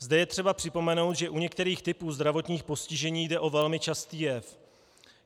Zde je třeba připomenout, že u některých typů zdravotních postižení jde o velmi častý jev.